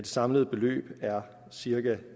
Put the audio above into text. samlede beløb er cirka